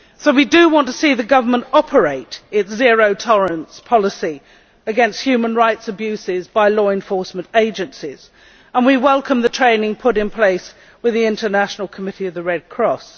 We want to see the government operate its zero tolerance policy against human rights abuses by law enforcement agencies and we welcome the training put in place with the International Committee of the Red Cross.